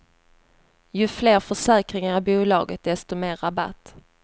Ju fler försäkringar i bolaget desto mer rabatt.